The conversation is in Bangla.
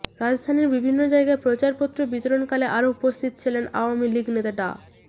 রাজধানীর বিভিন্ন জায়গায় প্রচারপত্র বিতরণকালে আরও উপস্থিত ছিলেন আওয়ামী লীগ নেতা ডা